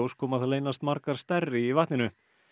kom að það leynast margar stærri í vatninu